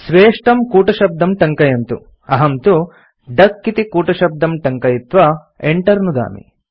स्वेष्टं कूटशब्दं टङ्कयन्तु अहं तु डक इति कूटशब्दं टङ्कयित्वा Enter नुदामि